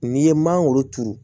N'i ye mangoro turu